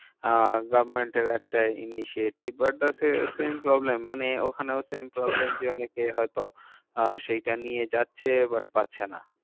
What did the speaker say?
আহ government এর একটা initiative but the same same problem মানে ওখানেও same problem যে অনেকে হয়তো আহ সেইটা নিয়ে যাচ্ছে but পাচ্ছে না।